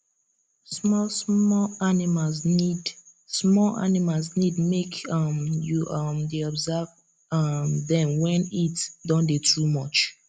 small small animals need small animals need make um you um dey observe um dem wen heat don dey too much